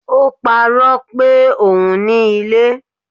O paro pé ohùn ní ilé